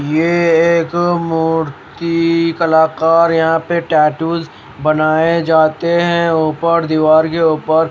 ये है एक मूर्ति कलाकार यहां पे टैटू बनाए जाते हैं ऊपर दीवार के ऊपर--